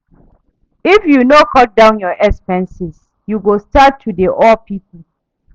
If you no cut down your expenses, you go starrt to dey owe people.